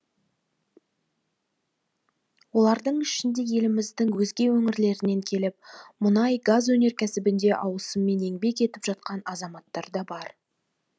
олардың ішінде еліміздің өзге өңірлерінен келіп мұнай газ өнеркәсібінде ауысыммен еңбек етіп жатқан азаматтар да бар